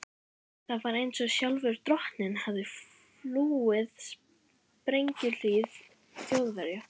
Það var einsog sjálfur drottinn hefði flúið sprengjuhríð Þjóðverja.